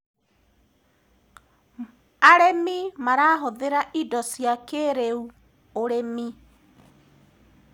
arĩmi marahuthira indo cia kĩiriu ũrĩmi